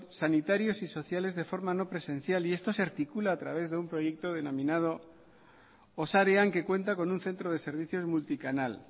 sanitarios y sociales de forma no presencial y esto se articula a través de un proyecto denominado osarean que cuenta con un centro de servicios multicanal